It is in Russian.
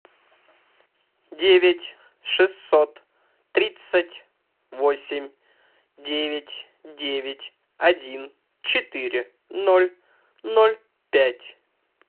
девять шестьсот тридцать восемь девять девять один четыре ноль ноль пять